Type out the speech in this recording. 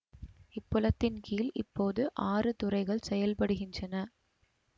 இப்புலத்தின்கீழ் இப்போது ஆறு துறைகள் செயல்படுகின்றன